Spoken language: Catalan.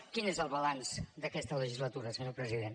quin és el balanç d’aquesta legislatura senyor president